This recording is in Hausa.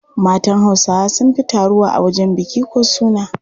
Matan Hausawa sun fi taruwa a wajen biki ko suna.